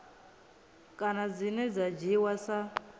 kana dzine dza dzhiiwa sa